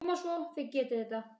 Koma svo, þið getið þetta!